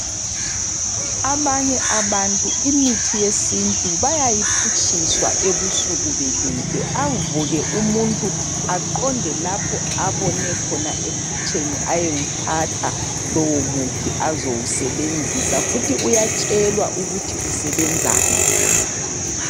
Abanye abantu imithi yesintu bayayiphutshiswa ebusuku belele, avuke umuntu aqonde lapho abone khona ephutsheni ayewuthatha lowo muthi azowusebenzisa, futhi uyatshelwa ukuthi usebenzani.